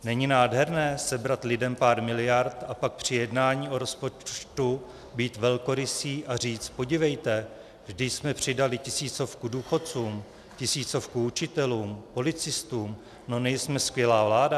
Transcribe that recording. Není nádherné sebrat lidem pár miliard a pak při jednání o rozpočtu být velkorysý a říct: podívejte, vždyť jsme přidali tisícovku důchodcům, tisícovku učitelům, policistům, no nejsme skvělá vláda?